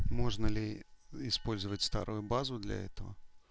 можно ли использовать старую базу для этого